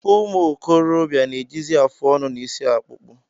Ụmụ okorobịa na-ejizi afụ ọnụ na isi akpukpo